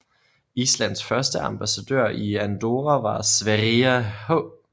Islands første ambassadør i Andorra var Sverrir H